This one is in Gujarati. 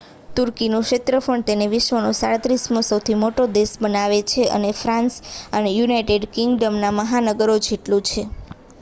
તુર્કીનું ક્ષેત્રફળ તેને વિશ્વનો 37મો સૌથી મોટો દેશ બનાવે છે અને તે ફ્રાન્સ અને યુનાઇટેડ કિંગડમના મહાનગરો જેટલું છે